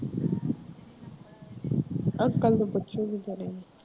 uncle ਨੂੰ ਪੁੱਛਾਂਗੀ ਤੇਰੇ ਨੂੰ